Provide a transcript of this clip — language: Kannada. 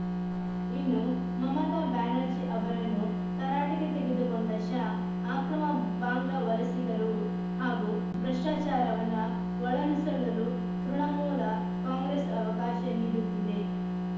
ಇನ್ನು ಮಮತಾ ಬ್ಯಾನರ್ಜಿ ಅವರನ್ನೂ ತರಾಟೆಗೆ ತೆಗೆದುಕೊಂಡ ಶಾ ಆಕ್ರಮ ಬಾಂಗ್ಲಾ ವಲಸಿಗರು ಹಾಗೂ ಭ್ರಷ್ಟಾಚಾರವನ್ನ ಒಳನುಸುಳಲು ತೃಣಮೂಲ ಕಾಂಗ್ರೆಸ್‌ ಅವಕಾಶ ನೀಡುತ್ತಿದೆ